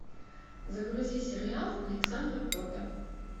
загрузи сериал александра котта